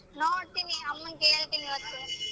ನೋಡ್ತೀನಿ ಅಮ್ಮನ್ ಕೇಳ್ತೀನಿ ಇವತ್ತು.